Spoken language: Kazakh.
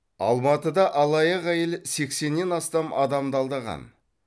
алматыда алаяқ әйел сексеннен астам адамды алдаған